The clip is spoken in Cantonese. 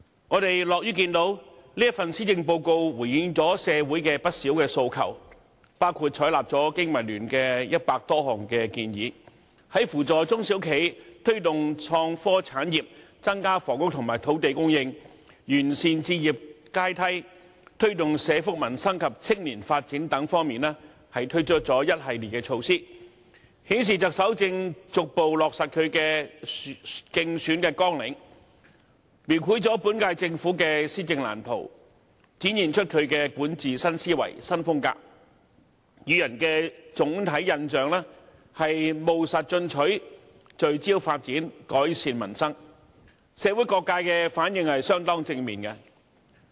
我們樂於見到，這份施政報告回應了社會的不少訴求，包括採納了經民聯約100多項建議，在扶助中小企、推動創科產業、增加房屋和土地供應、完善置業階梯、推動社福民生及青年發展等方面，推出一系列措施，顯示特首正逐步落實她的競選政綱，描繪了本屆政府的施政藍圖，展現出她的管治新思維、新風格，予人的總體印象是"務實進取，聚焦發展，改善民生"，社會各界的反應相當正面。